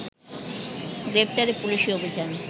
প্রেফতারে পুলিশি অভিযান